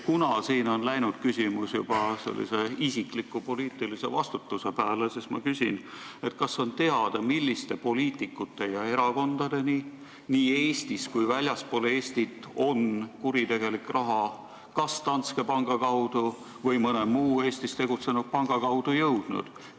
Kuna siin on läinud jutt juba isikliku poliitilise vastutuse pääle, siis ma küsin, kas on teada, milliste poliitikute ja erakondade kätte nii Eestis kui ka väljaspool Eestit on kuritegelik raha kas Danske panga või mõne muu Eestis tegutsenud panga kaudu jõudnud.